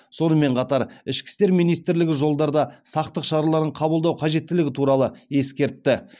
сонымен қатар ішкі істер министрлігі жолдарда сақтық шараларын қабылдау қажеттілігі туралы ескертті